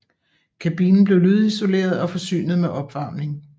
Kabinen blev lydisoleret og forsynet med opvarmning